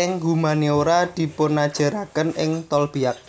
ing Humaniora dipunajaraken ing Tolbiac